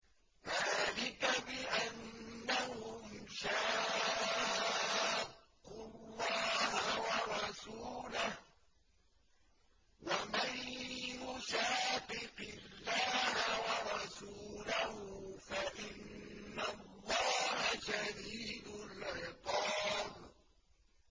ذَٰلِكَ بِأَنَّهُمْ شَاقُّوا اللَّهَ وَرَسُولَهُ ۚ وَمَن يُشَاقِقِ اللَّهَ وَرَسُولَهُ فَإِنَّ اللَّهَ شَدِيدُ الْعِقَابِ